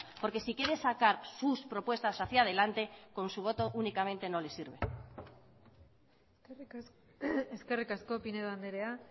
porque si quiere sacar sus propuestas hacía delante con su voto únicamente no le sirve eskerrik asko pinedo andrea